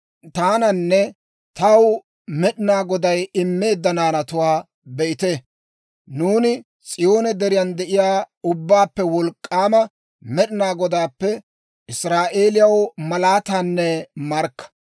Taananne taw Med'inaa Goday immeedda naanatuwaa be'ite. Nuuni S'iyoone Deriyan de'iyaa Ubbaappe Wolk'k'aama Med'inaa Godaappe Israa'eeliyaw malaatanne markka.